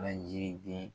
Laji den